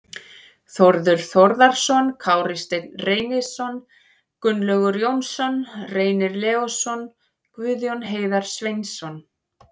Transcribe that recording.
Þórður Þórðarson, Kári Steinn Reynisson, Gunnlaugur Jónsson, Reynir Leósson, Guðjón Heiðar Sveinsson